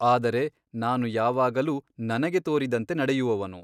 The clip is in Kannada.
ಆದರೆ ನಾನು ಯಾವಾಗಲೂ ನನಗೆ ತೋರಿದಂತೆ ನಡೆಯುವವನು.